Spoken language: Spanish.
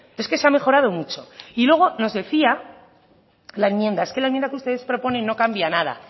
es que se ha mejorado mucho y luego nos decía la enmienda es que la enmienda que ustedes proponen no cambia nada